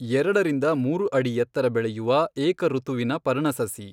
ಎರಡರಿಂದ ಮೂರು ಅಡಿ ಎತ್ತರ ಬೆಳೆಯುವ ಏಕಋತುವಿನ ಪರ್ಣಸಸಿ.